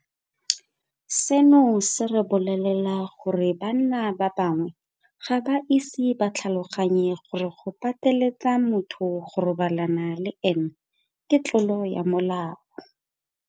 Seno se re bolelela gore banna ba bangwe ga ba ise ba tlhaloganye gore go pateletsa motho go robalana le ene ke tlolo ya molao.